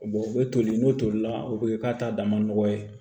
u bɛ toli n'o tolila o bɛ k'a ta dama nɔgɔ ye